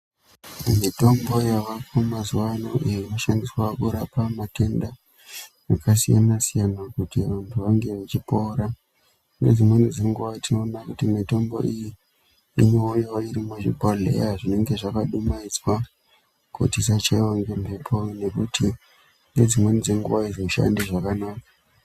Mitombo yavako mazuva ano inoshandiswa kurapa matenda akasiyana-siyana kuti vantu vange vachipora. Ngedzimweni dzenguva tinoona kuti mitombo iyi inouya iri muzvibhodhleya zvinonga zvakadumaidzwa kuti zvisachaiva ngemhepo. Nekuti nedzimweni dzenguva haizoshandi zvakanaka.